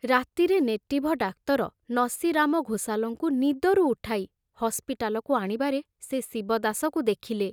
ରାତିରେ ନେଟିଭ ଡାକ୍ତର ନସିରାମ ଘୋଷାଲଙ୍କୁ ନିଦରୁ ଉଠାଇ ହସ୍ପିଟାଲକୁ ଆଣିବାରେ ସେ ଶିବଦାସକୁ ଦେଖିଲେ।